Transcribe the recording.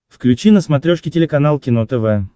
включи на смотрешке телеканал кино тв